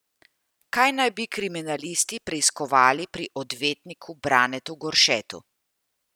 Kaj naj bi kriminalisti preiskovali pri odvetniku Branetu Goršetu?